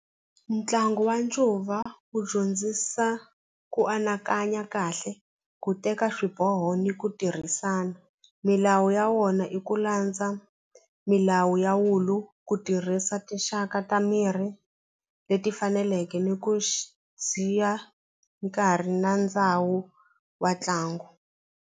Ntlangu wa ncuva wu dyondzisa ku anakanya kahle ku teka swiboho ni ku tirhisana milawu ya wona i ku landza milawu ya wulu ku tirhisa tinxaka ta mirhi leti faneleke ni ku nkarhi na ndhawu wa ntlangu.